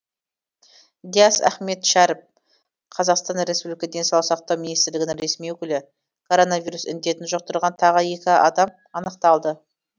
диас ахметшәріп қазақстан республикасы денсаулық сақтау министрлігінің ресми өкілі коронавирус індетін жұқтырған тағы екі адам анықталды